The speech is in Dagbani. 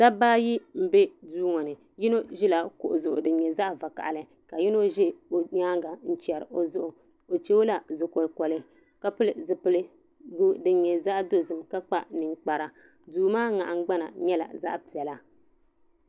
Dabba ayi n bɛ duu ŋo ni yino ʒila kuɣu zuɣu din nyɛ zaɣ vakaɣili ka yino ʒɛ o nyaanga n chɛri o zuɣu o chɛ o la zuɣu kolikoli ka pili zipiligu din nyɛ zaɣ dozim ka kpa ninkpara duu maa nahangbana nyɛla zaɣ piɛla